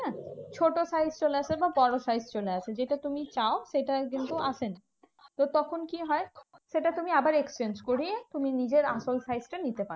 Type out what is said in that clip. ছোট size চলে আসে বা বড় size চলে আসে। যেটা তুমি চাও সেটা কিন্তু আসে না। তো তখন কি হয়? সেটা তুমি আবার exchange করিয়ে তুমি নিজের আসল size টা নিতে পারো।